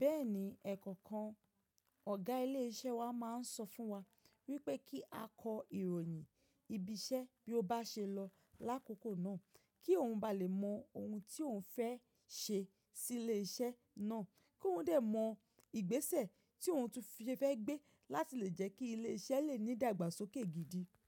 Bẹ́ẹ̀ni, ẹ̀ẹ̀kọ̀kan ọ̀gá ilé iṣẹ́ wa máa ń sọ fún wa wípé kí a kọ ìròyìn ibi iṣẹ́ bí ó bá ṣe lọ lákòkò náà kí òun ba lè mọ ohun tí òun fẹ́ ṣe sí ilé iṣẹ́ náà, kí òun dè mọ ìgbésẹ̀ tí òun fẹ́ gbé láti lè jẹ́ kí ilé iṣẹ́ lè ní ìdàgbàsókè gidi.